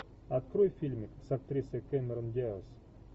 открой фильмик с актрисой кэмерон диаз